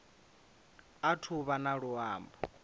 athu u vha na luambo